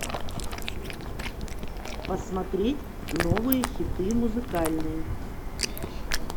посмотреть новые хиты музыкальные